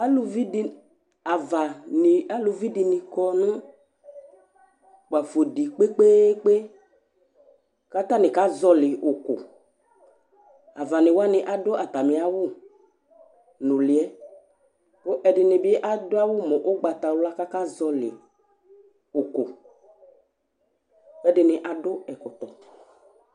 Avaŋi, aluvi ɖìní kɔ ŋu kpafo ɖi kpe kpe kpe kʋ ataŋi akazɔli ʋku Avaŋi waŋi aɖu atami awu ŋʋliɛ kʋ ɛɖìní bi aɖu awu mu ugbatawla kʋ akazɔli ʋku Ɛɖìní aɖu ɛkɔtɔ